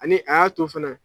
Ani a y'a to fana